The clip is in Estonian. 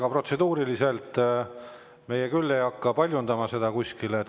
Aga protseduuriliselt on nii, et meie küll ei hakka seda kuskil paljundama.